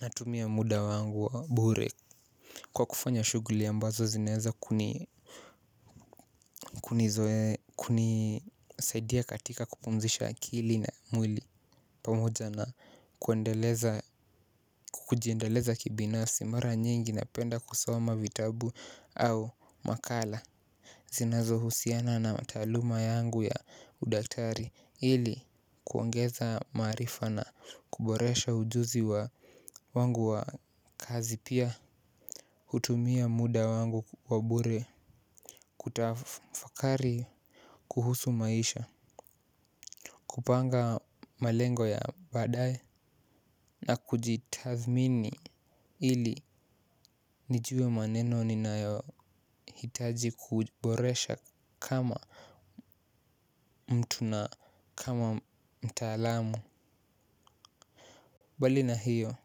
Natumia muda wangu wa bure. Kwa kufanya shughuli ambazo zinaweza kunisaidia katika kupumzisha akili na mwili pamoja na kujiendeleza kibinafsi mara nyingi napenda kusoma vitabu au makala. Zinazo husiana na mataluma yangu ya udaktari ili kuongeza maarifa na kuboresha ujuzi wangu wa kazi pia hutumia muda wangu wabure. Kutafakari kuhusu maisha, kupanga malengo ya baadae na kujitathmini ili nijue mambo ninahitaji kuboresha kama mtu na kama mtaalamu mbali na hayo.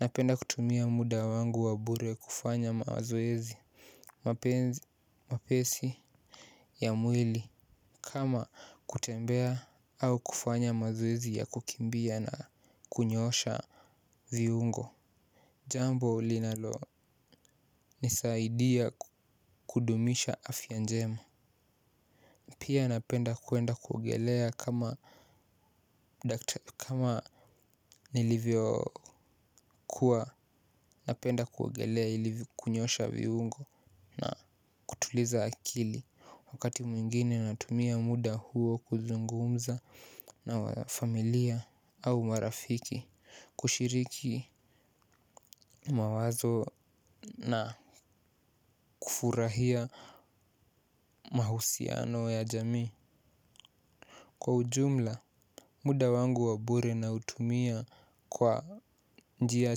Napenda kutumia muda wangu wabure kufanya mazoezi mepesi ya mwili kama kutembea ama kufanya mazoezi ya kukimbia na kunyoosha viungo. Jambo ulinalo nisaidia kudumisha afya njema. Pia napenda kuenda kuogelea kama nilivyo kuwa napenda kuogelea ili kunyoosha viungo na kutuliza akili. Wakati mwingine natumia muda huo kuzungumza na familia au marafiki kushiriki mawazo na kufurahia mahusiano ya jamii. Kwa ujumla, muda wangu wa bure naitumia kwa njia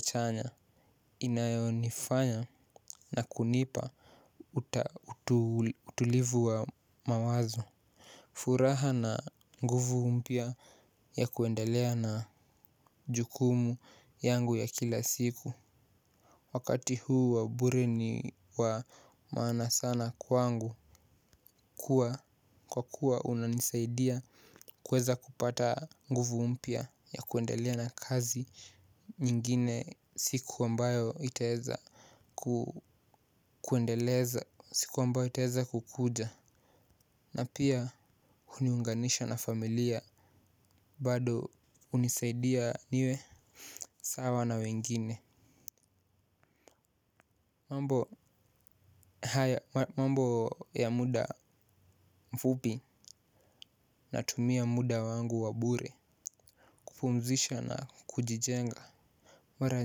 chanya inayonifanya na kunipa utulivu wa mawazo. Furaha na nguvu mpya ya kuendelea na jukumu yangu ya kila siku. Wakati huu wa bure ni wa maana sana kwangu. Kwa kuwa unanisaidia kweza kupata nguvu mpya ya kuendelea na kazi. Nyingine siku ambayo itaweza kuendeleza siku ambayo itaweza kukuja na pia kuniunganisha na familia bado hunisaidia niwe sawa na wengine. Mambo haya mambo ya muda mfupi natumia muda wangu wa bure kupumzika na kujijenga. Mara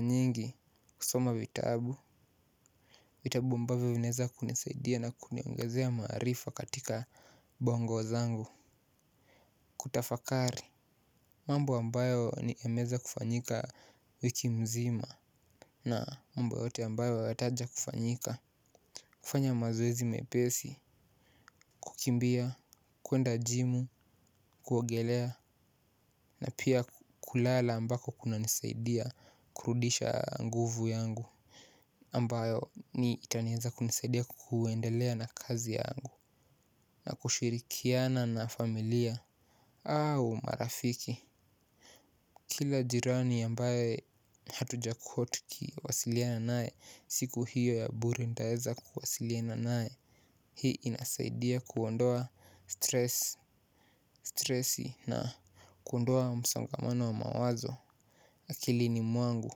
nyingi kusoma vitabu, vitabu mbavyo vinaweza kunisaidia na kuniongezea maarifa katika bongo zangu, kutafakari mambo ambayo yameweza kufanyika wiki mzima na mamba yote ambayo watakuja kufanyika. Kufanya mazoezi mepesi, kukimbia, kuenda jimu, kuwogelea na pia kulala ambako kunanisaidia kurudisha nguvu yangu ambayo itaweza kunisaidia kuendelea na kazi yangu na kushirikiana na familia au marafiki. Kila jirani ambaye hatujakuwa tukiwasiliana naye siku hiyo ya bure nitaweza kuwasiliana naye. Hii inasaidia kuondoa stress na kuondoa msongamano wa mawazo. Akilini mwangu,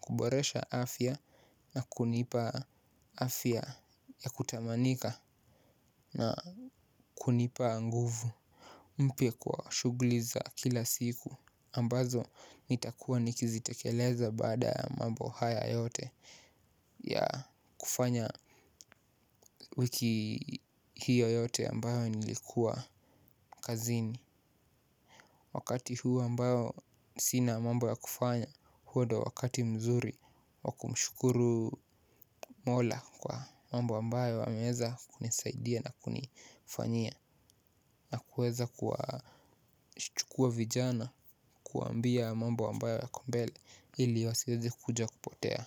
kuboresha afya na kunipa afya ya kutamanika na kunipa nguvu mpya kwa shughuli za kila siku ambazo nitakuwa nikizitekeleza baada ya mambo haya yote ya kufanya wiki hiyo yote ambayo nilikuwa kazini. Wakati huu ambao sina mambo ya kufanya huo ndio wakati mzuri wa kumshukuru mola kwa mambo ambayo ameweza kunisaidia na kunifanyia. Na kuweza kuwachukua vijana kuwaambia mambo ambayo yako mbele ili wasiweze kuja kupotea.